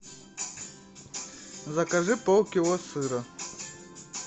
закажи полкило сыра